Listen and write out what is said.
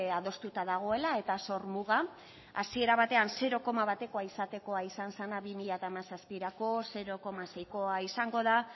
adostuta dagoela eta zor muga hasiera batean zero koma batekoa izatekoa izan zena bi mila hamazazpirako zero koma seikoa izango da